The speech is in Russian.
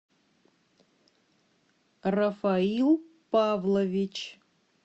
рафаил павлович